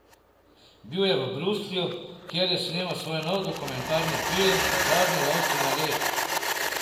Bil je v Bruslju, kjer je snemal svoj nov dokumentarni film Zadnji lovci na led.